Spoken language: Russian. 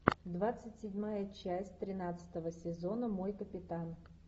двадцать седьмая часть тринадцатого сезона мой капитан